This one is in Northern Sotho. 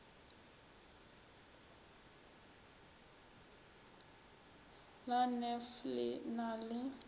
la nef le na le